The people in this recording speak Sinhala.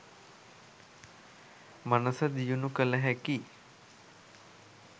මනස දියුණු කළ හැකි